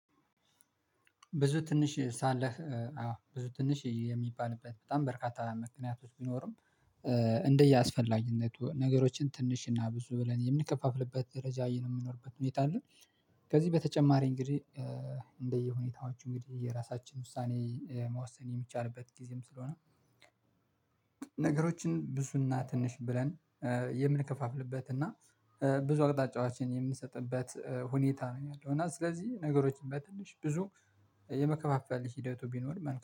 ብዙ ትንሽ ሳለህ አዎ ብዙ ትንሽ የሚባልበት በጣም በርካታ ምክንያቶች ቢኖርም እንደየ አስፈላጊነቱ ነገሮችን ትንሽና ብዙ ብለን የምንከፋፍልበት ደረጃ የምኖርበት ሁኔታ አለ። ከዚህ በተጨማሪ እንግዲህ እንደየ ሁኔታዎቹ እንግዲህ፣ የራሳችን ውሳኔ መወሰን የሚቻልበት ጊዜም ስለሆነ ነገሮችን ብዙና ትንሽ ብለን የምንከፋፍልበት እና ብዙ አቅጣጫዎችን የምንሰጥበት ሁኔታ ነው ያለው እና ስለዚህ ነገሮችን በትንሽ ብዙ የመከፋፈል ሂደቱ ቢኖር